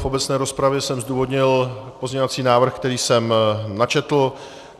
V obecné rozpravě jsem zdůvodnil pozměňovací návrh, který jsem načetl.